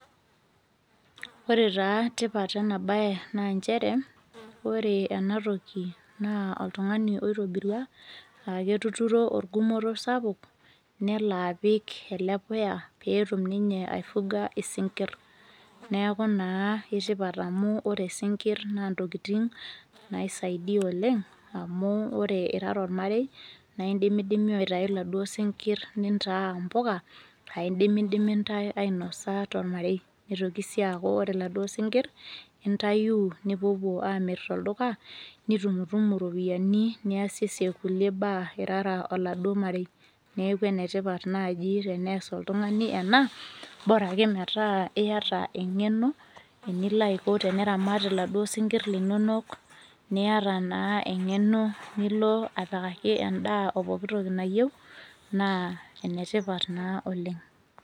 Ore taa tipat enabae, naa njere, ore enatoki naa oltung'ani oitobirua, aketuturo orgumoto sapuk, nelo apik ele puya peetum ninye ai fuga isinkirr. Neeku naa ketipat amu ore sinkirr naa ntokiting, naisaidia oleng, amu ore irara ormarei, naa idimidimi aitayu laduo sinkirr nintaa mpuka, ah idimidimi ntai ainosa tormarei. Nitoki si aku ore laduo sinkirr, intayuu nipuopuo amir tolduka, nitumtumu iropiyiani niasiesie kulie baa irara oladuo marei. Neeku enetipat naji tenees oltung'ani ena, bora ake metaa iyata eng'eno, enilo aiko teniramat iladuo sinkirr linonok, niata naa eng'eno nilo apikaki endaa opoki toki nayieu, naa enetipat naa oleng.